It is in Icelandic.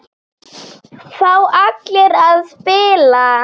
Fá allir að spila?